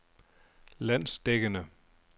landsdækkende